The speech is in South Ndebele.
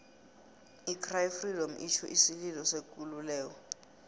i cry freedom itjho isililo sekululeko